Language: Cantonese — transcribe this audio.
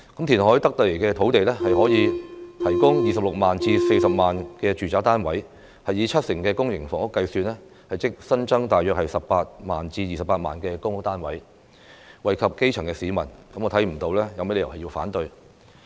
填海得來的土地，可以提供 260,000 至 400,000 個住宅單位，以七成公營房屋計算，即新增大約 180,000 至 280,000 個公屋單位，惠及基層市民，我看不到有甚麼理由要反對？